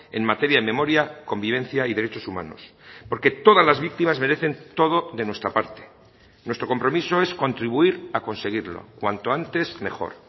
en materia de memoria convivencia y derechos humanos porque todas las víctimas merecen todo de nuestra parte nuestro compromiso es contribuir a conseguirlo cuanto antes mejor